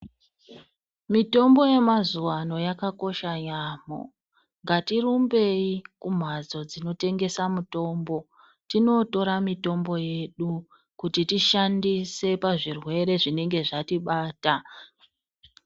Mitombo yemazuwano yakakosha yamo. Ngatirumbeyi kumhatso dzinotengesa mutombo, tinotora mitombo yedu kuti tishandise pazvirwere zvinenge zvatibata.